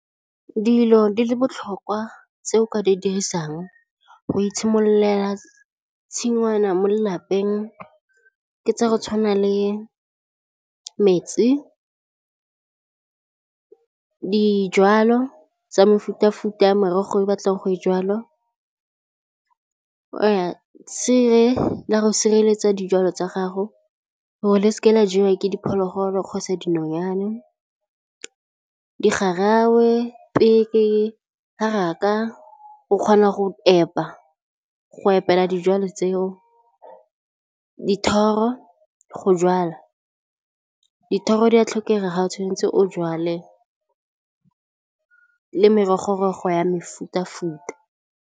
Dilo di le botlhokwa tse o ka di dirisang go itshimololela tshingwana mo lelapeng ke tsa go tshwana le metsi, dijwalo tsa mefuta futa ya morogo o batlang go e jwala, tshire la go sireletsa dijalo tsa gago gore di seke tsa jewa ke diphologolo kgotsa dinonyane, di garawe, peke, haraka o kgona go epa go epela dijalo tseo dithoro go jala dithoro di a tlhokega ga o tshwanetse o jwale le merogo go ya mefuta futa.